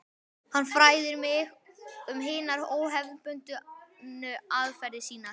Hann fræðir mig um hinar óhefðbundnu aðferðir sínar.